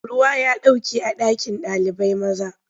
Ruwa ya ɗauke a ɗakin ɗalibai. maza.